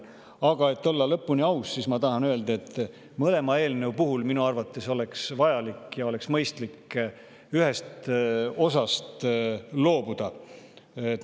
Aga et olla lõpuni aus, siis ma tahan öelda, et mõlema eelnõu puhul oleks minu arvates vajalik ja mõistlik ühest osast loobuda.